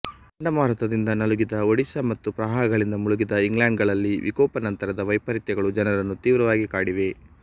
ಚಂಡ ಮಾರುತದಿಂದ ನಲುಗಿದ ಒಡಿಶಾ ಮತ್ತು ಪ್ರವಾಹಗಳಿಂದ ಮುಳುಗಿದ ಇಂಗ್ಲೆಂಡ್ಗಳಲ್ಲಿ ವಿಕೋಪನಂತರದ ವೈಪರೀತ್ಯಗಳು ಜನರನ್ನು ತೀವ್ರವಾಗಿ ಕಾಡಿವೆ